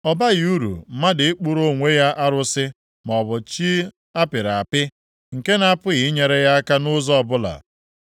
Ọ baghị uru mmadụ ịkpụrụ onwe ya arụsị maọbụ chi a pịrị apị, nke na-apụghị inyere ya aka nʼụzọ ọbụla?